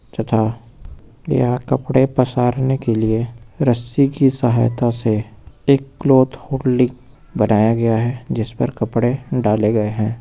तथा यहाँ कपड़े पसारने के लिए रस्सी की सहायता से एक क्लॉथ होल्डिंग बनाया गया है जिस पर कपड़े डाले गए हैं।